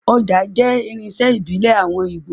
Ọjà jẹ́ irinṣẹ́ ìbílẹ̀ àwọn Ígbò